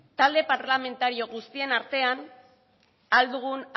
talde parlamentario guztien artean ahal dugun